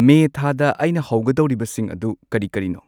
ꯃꯦ ꯊꯥꯗ ꯑꯩꯅ ꯍꯧꯒꯗꯧꯔꯤꯕꯁꯤꯡ ꯑꯗꯨ ꯀꯔꯤ ꯀꯔꯤꯅꯣ